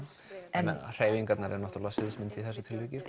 en hreyfingarnar eru sviðsmynd í þessu tilviki